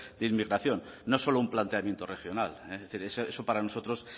de inmigración no solo un planteamiento regional es decir eso para nosotros